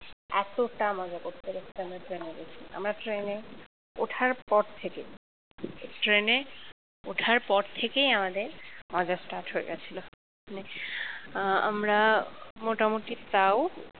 এতটা মজা করতে করতে আমরা ট্রেনে গেছি আমরা ট্রেনে ওঠার পর থেকে ট্রেনে ওঠার পর থেকেই আমাদের আমাদের start হয়ে গেছিল মানে আমরা মোটামুটি তাও